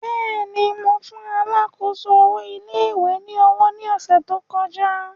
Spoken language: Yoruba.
Bẹ́ẹ̀ni, Mo fun alákòóso owo ilé ìwé ni owo ni ọsẹ to kọja.